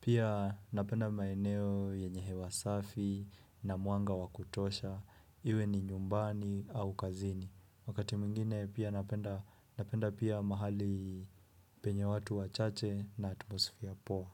Pia napenda maeneo yenye hewa safi na mwanga wakutosha. Iwe ni nyumbani au kazini. Wakati mwingine pia napenda napenda pia mahali penye watu wachache na atmosfia poa.